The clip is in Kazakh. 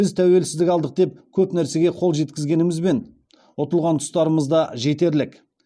біз тәуелсіздік алдық деп көп нәрсеге қол жеткізгенімізбен ұтылған тұстарымыз да жетерлік